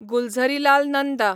Gulzarilal Nanda